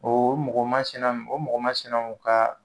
O mɔgɔ masina o mɔgɔ masinaw ka